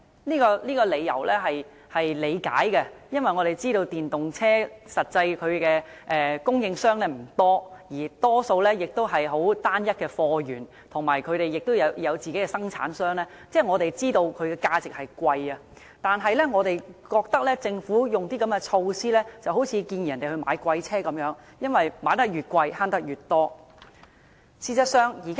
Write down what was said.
我們理解這樣的結果，因為我們知道電動車的供應商其實不多，貨源亦多數單一，而且電動車生產商不多，所以我們知道其價值會較昂貴，但我們認為如果政府推出這樣的措施，便好像是鼓勵人購買昂貴的車輛，因為車輛價錢越昂貴，節省越多。